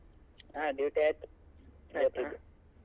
ಹಾ duty ಆಯ್ತು ಇವತ್ತಿದ್ದು.